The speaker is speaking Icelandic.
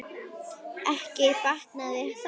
Ekki batnaði það!